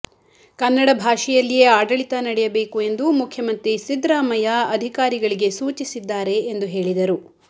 ಕನ್ನಡ ಭಾಷೆಯಲ್ಲಿಯೇ ಆಡಳಿತ ನಡೆಯಬೇಕು ಎಂದು ಮುಖ್ಯಮಂತ್ರಿ ಸಿದ್ದರಾಮಯ್ಯ ಅಧಿಕಾರಿಗಳಿಗೆ ಸೂಚಿಸಿದ್ದಾರೆ ಎಂದು ಹೇಳಿದರು